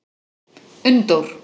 Unndór